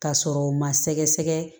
Ka sɔrɔ u ma sɛgɛsɛgɛ